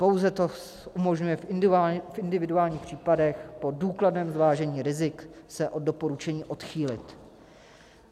Pouze to umožňuje v individuálních případech po důkladném zvážení rizik se od doporučení odchýlit.